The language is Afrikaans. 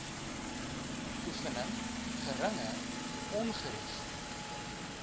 oefening geringe ongerief